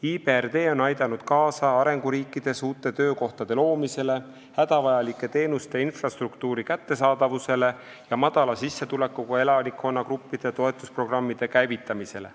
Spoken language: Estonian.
IBRD on aidanud arenguriikides kaasa uute töökohtade loomisele, hädavajalike teenuste ja infrastruktuuri kättesaadavuse parandamisele ja madala sissetulekuga elanikkonnagruppide toetamise programmide käivitamisele.